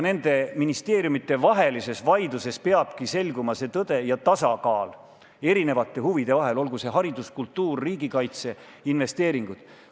Nende ministeeriumide vahelises vaidluses peabki selguma see ja tasakaal erinevate huvide vahel, olgu see haridus, kultuur, riigikaitse või investeeringud.